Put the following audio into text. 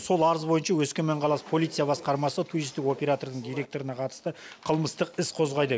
сол арыз бойынша өскемен қаласы полиция басқармасы туристік оператордың директорына қатысты қылмыстық іс қозғайды